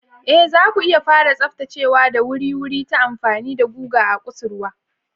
Ee, zaku iya fara tsaftacewa da wuri-wuri ta amfani da guga a kusurwa.